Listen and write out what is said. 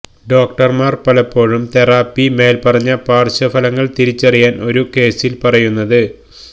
ഡോക്ടർമാർ പലപ്പോഴും തെറാപ്പി മേൽപ്പറഞ്ഞ പാർശ്വഫലങ്ങൾ തിരിച്ചറിയാൻ ഒരു കേസിൽ പറയുന്നത്